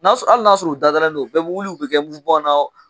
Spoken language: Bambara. N'a sɔrɔ hali n'a sɔrɔ u dadalen don u bɛ wuli u bɛɛ bɛ kɛ na